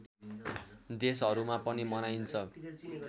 देशहरूमा पनि मनाइन्छ